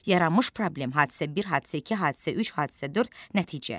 Yaranmış problem, hadisə 1, hadisə 2, hadisə 3, hadisə 4, nəticə.